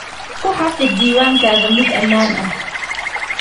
Ku xafid diiwaankaaga mid ammaan ah.